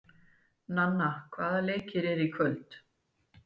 Nanna, hvaða leikir eru í kvöld?